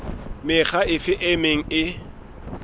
mekga efe e meng e